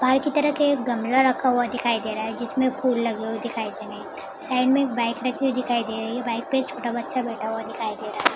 बाहर की तरफ एक गमला रखा हुआ दिखाई दे रहा है जिसमे फूल लगे हुए दिखाई दे रहे है साइड में एक बाइक रखी हुई दिखाई दे रही है बाइक पे छोटा बच्चा बैठा हुआ दिखाई दे रहा है।